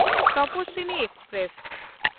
Tapaswini express